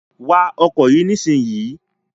Wa ọkọ̀ yìí nísìnyí!